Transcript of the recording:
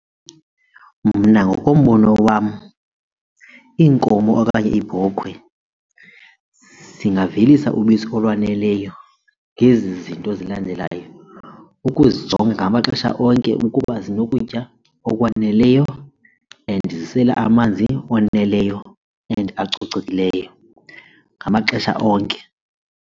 Mna ngokombono wam iinkomo okanye iibhokhwe zingavelisa ubisi olwaneleyo ngezi zinto zilandelayo, ukuzijonga ngamaxesha onke ukuba zinokutya okwaneleyo and zisela amanzi oneleyo and acocekileyo ngamaxesha onke.